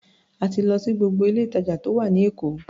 A ti lọ sí gbogbo ilé-ìtàjà tó wà ní Èkó.